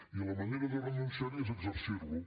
i la manera de no renunciar hi és exercir lo